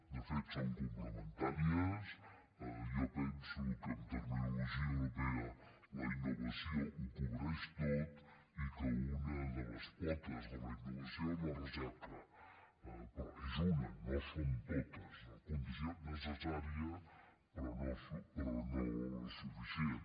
de fet són complementàries jo penso que en terminologia europea la innovació ho cobreix tot i que una de les potes de la innovació és la recerca però és una no són totes sinó condició necessària però no suficient